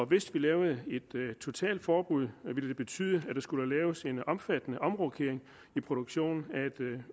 hvis vi lavede et totalt forbud ville det betyde at der skulle laves en omfattende omrokering i produktionen af et